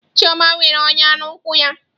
Chioma nwere ọnya n'ụkwụ ya.